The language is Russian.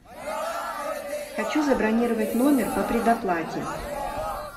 хочу забронировать номер по предоплате